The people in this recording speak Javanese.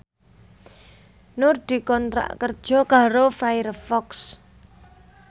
Nur dikontrak kerja karo Firefox